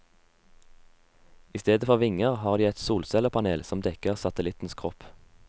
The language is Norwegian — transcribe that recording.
Istedenfor vinger har de et solcellepanel som dekker satellittens kropp.